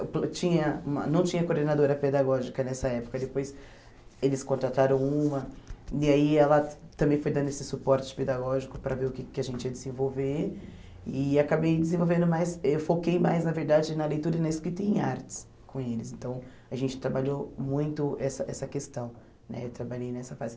tinha não tinha coordenadora pedagógica nessa época, depois eles contrataram uma, e aí ela também foi dando esse suporte pedagógico para ver o que que a gente ia desenvolver e acabei desenvolvendo mais, eu foquei mais na verdade na leitura e na escrita em artes com eles, então a gente trabalhou muito essa essa questão, eh trabalhei nessa fase.